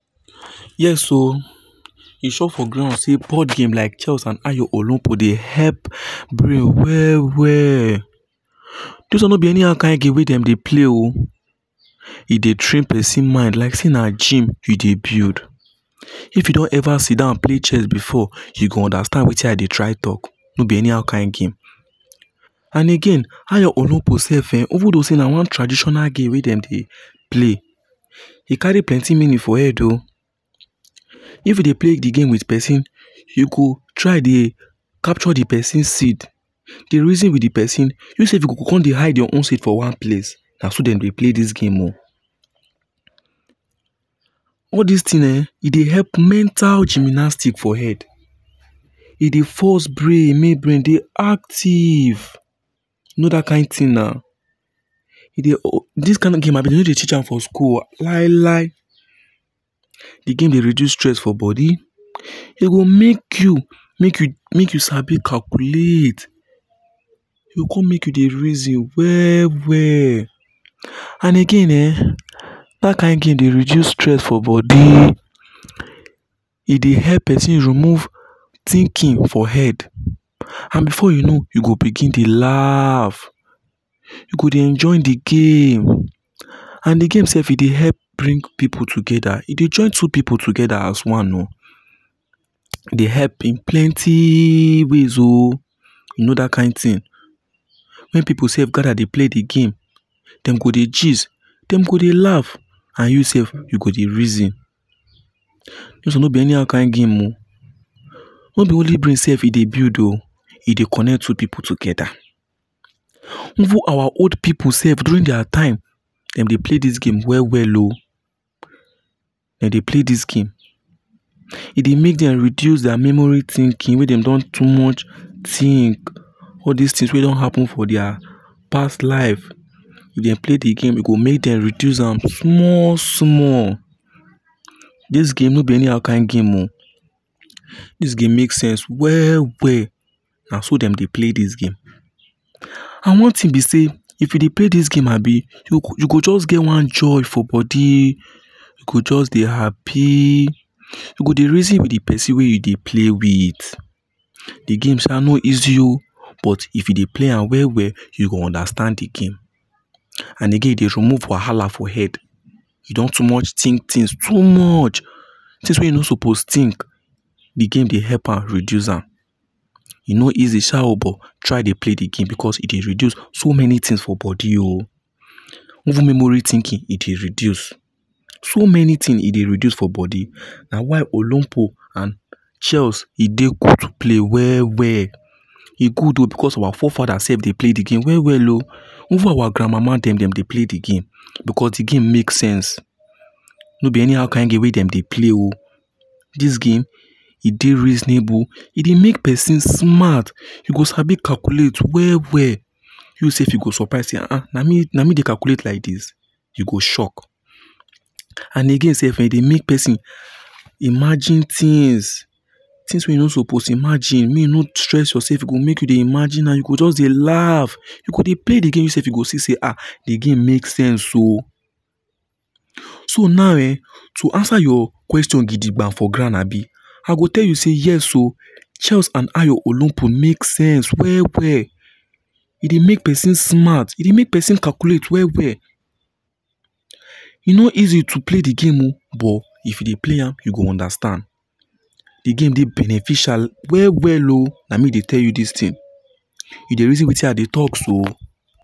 Yes o, e sure for ground say board game like chess and Ayo olopon dey help brain well well dis one no be anyhow kind game wey dem dey play o. E dey train person mind like say na dream you dey build. If you don ever sit down play chess before, you go understand wetin I dey try talk, no be anyhow kind game. And again Ayo olopon self um even though na one traditional game wey dem dey play, e carry plenty meaning for head oh. If you dey play di game with person you go try dey capture de person seed dey reason with de person. You self go come dey hide your own seed for one place, na so dem dey play this game oh All this things um e dey help mental gymnastics for head. E dey force brain, make brain dey active. You know that kind thing na. E dey This kind game dem no dey teach am for school, lailai! Di game dey reduce stress for body, e go make you, make you make you sabi dey calculate, e go come make you dey reason well well. And again um that kind game dey reduce stress for body, e dey help person remove thinking for head and before you know you go begin dey laugh. You go dey enjoy de game. And de game self e dey help bring people together. E dey join two pipu together as one oh. E dey help in plenty ways oh. You know that kind thing make pipu self gather dey play de game, dem go dey gist, dem go dey laugh, and you self you go dey reason. This one no be any how kind game oh, no be only brain e dey build oh, e dey connect two pipu put together. Even our old people self during their time, dem dey play this game well well oh Dem dey play dis game E dey make dem reduce their memory thinking wey dem don too much think, all dis things wey don happen for their past life. If dem okay de game, e make dem reduce am small small. This game no be anyhow kind game oh. This game make sense well well. Na so dem dey play this game. And one thing be say, if u dey play this game abi, you go just get one joy for body you go just dey happy. You go dey reason with di person wey you dey play with. Di game sha no easy oh. But if you dey play am well well, you go understand di game. And again, e dey remove wahala for head, you don too much think things too much. Things wey you no suppose think, di game dey help am reduce am. E no easy sha o but try dey play de game because e dey reduce so many things for body o Even memory thinking, e dey reduce so many things e dey reduce for body. Na why olopon and chess e dey good to play well well. E good oh because our forefathers self dey play di game well well oh. Even our grandmama dem dey play dey game oh because di game make sense. No be anyhow kind game wey dem dey play oh. Dis game, e dey reasonable, e dey make person smart, e go sabi calculate well well. You self you go surprise say um na me dey calculate like this. You go shock. And again self um, e dey make person imagine things things wey you no suppose imagine make e no stress yourself make you no imagine am, you go just dey laugh, you go dey okay di game you go see say um, di game make sense oh. So now um, to answer your question gidigba for ground abi, I go tell you say yes oh chess and Ayo olopon make sense well well. E dey make person smart, e dey make person calculate well well. E no easy to play de game oh but if e dey okay am, you go understand. Di game dey beneficial well well oh. Na me dey tell you dis thing. You de hear wetin I dey talk so.